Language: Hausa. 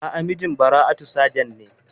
A'a, mijin Bara'atu sajent ne.